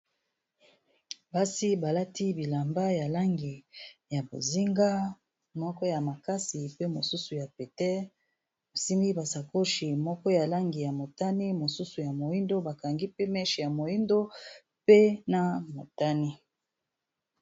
basi balati bilamba ya langi ya bozinga moko ya makasi pe mosusu ya pete basimi basakochi moko ya langi ya motani mosusu ya moindo bakangi pe meche ya moindo pe na motani